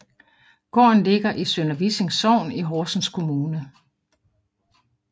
Gården ligger i Sønder Vissing Sogn i Horsens Kommune